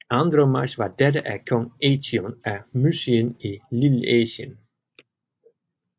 Andromache var datter af kong Eetion af Mysien i Lilleasien